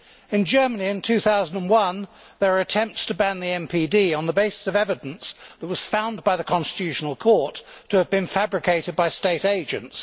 In Germany, in 2001 there were attempts to ban the MPD on the basis of evidence that was found by the Constitutional Court to have been fabricated by state agents.